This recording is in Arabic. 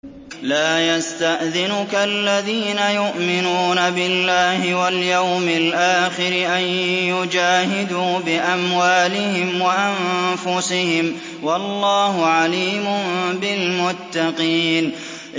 لَا يَسْتَأْذِنُكَ الَّذِينَ يُؤْمِنُونَ بِاللَّهِ وَالْيَوْمِ الْآخِرِ أَن يُجَاهِدُوا بِأَمْوَالِهِمْ وَأَنفُسِهِمْ ۗ وَاللَّهُ عَلِيمٌ بِالْمُتَّقِينَ